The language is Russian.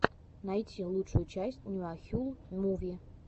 найти лучшую часть нуахюл муви